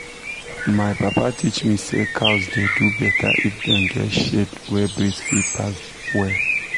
my papa teach me say cows dey do better if dem get shade wey breeze fit pass well.